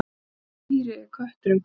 Af hvaða dýri er kötturinn kominn?